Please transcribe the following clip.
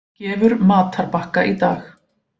Gefur matarbakka í dag